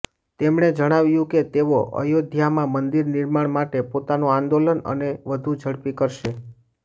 તેમણે જણાવ્યું કે તેઓ અયોધ્યામાં મંદિર નિર્માણ માટે પોતાનુ આંદોલન અને વધુ ઝડપી કરશે